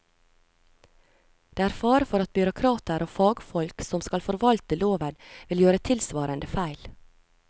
Det er fare for at byråkrater og fagfolk som skal forvalte loven vil gjøre tilsvarende feil.